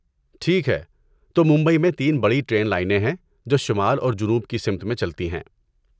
ٹھیک ہے، تو ممبئی میں تین بڑی ٹرین لائنیں ہیں جو شمال اور جنوب کی سمت میں چلتی ہیں۔